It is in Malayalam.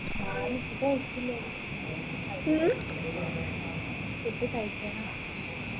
ഞാൻ ഇപ്പൊ കഴിച്ചില്ലെടി